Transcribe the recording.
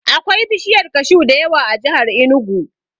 Akwai bishiyar kashu da yawa a jihar Inugu.